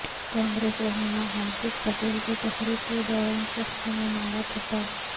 کانگریس رہنما ہاردیک پٹیل کو تقریر کے دوران شخص نے مارا تھپڑ